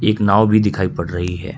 एक नांव भी दिखाई पड़ रही है।